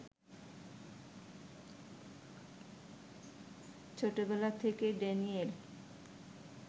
ছোটবেলা থেকেই ড্যানিয়েল